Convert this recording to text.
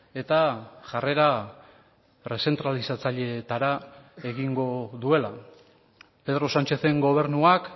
eta jarrera errezentralizatzailetara egingo duela pedro sánchezen gobernuak